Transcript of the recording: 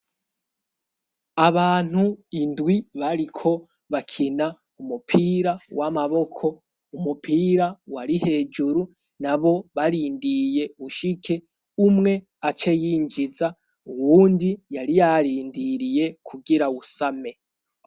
Abantu indwi bariko bakina umupira w'amaboko umupira wari hejuru na bo barindiye ushike umwe aceyinjiza uwundi yari yarindiriye kugira awusame.